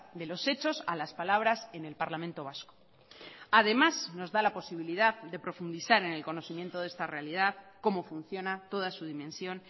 de los hechos a las palabras en el parlamento vasco además nos da la posibilidad de profundizar en el conocimiento de esta realidad cómo funciona toda su dimensión